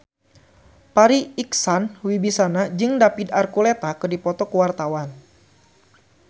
Farri Icksan Wibisana jeung David Archuletta keur dipoto ku wartawan